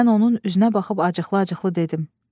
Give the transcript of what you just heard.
Mən onun üzünə baxıb acıqlı-acıqlı dedim.